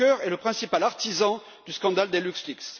Juncker est le principal artisan du scandale des LuxLeaks